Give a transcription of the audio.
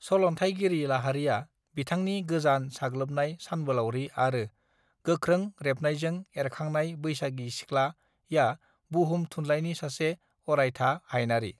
सल न्थाइगिरि लाहारीया बिथांनि गोजान साग्लोबनाय सानबोलारि आरो गोख्रों रेबनायजों एरखांनाय बैसागी सिख्ला या बुहुम थुनलाइनि सासे अरायथा हायनारि